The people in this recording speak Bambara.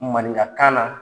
Maninkakan na.